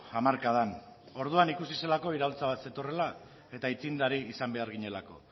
hamarkadan orduan ikusi zelako iraultza bat zetorrela eta aitzindari izan behar ginelako